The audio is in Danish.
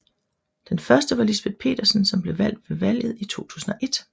Den første var Lisbeth Petersen som blev valgt ved valget i 2001